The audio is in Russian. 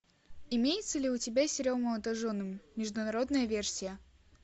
имеется ли у тебя сериал молодожены международная версия